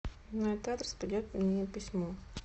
на этот адрес придет мне письмо